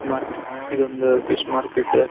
Market ಇದೊಂದ್ fish market .